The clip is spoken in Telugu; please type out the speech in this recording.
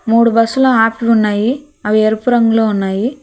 మూడు బస్సులు ఆపి ఉన్నాయి అవి ఎరుపు రంగులో ఉన్నాయి.